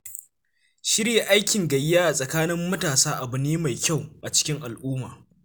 Shirya aikin gayya a tsakanin matasa abu ne mai kyau a cikin al'umma.